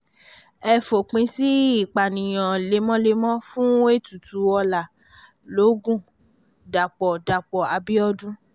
ẹ fòpin sí ìpànìyàn lemọ́lemọ́ fún ètùtù ọlá logun dapò dapò abiodun